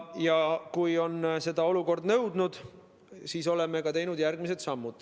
Kui olukord on seda nõudnud, siis oleme teinud järgmised sammud.